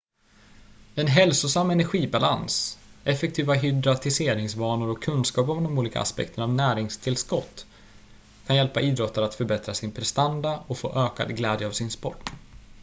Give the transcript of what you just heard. en hälsosam energibalans effektiva hydratiseringsvanor och kunskap om de olika aspekterna av näringstillskott kan hjälpa idrottare att förbättra sin prestanda och få ökad glädje av sin sport